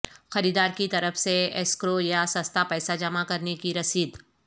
خریدار کی طرف سے یسکرو یا سستا پیسہ جمع کرنے کی رسید